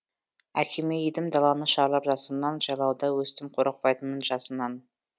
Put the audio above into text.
әкеме едім даланы шарлап жасымнан жайлауда өстім қорықпайтынмын жасынан